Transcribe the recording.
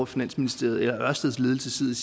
finansministeriet eller ørsteds ledelse sidder